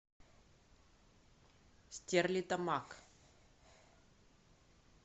стерлитамак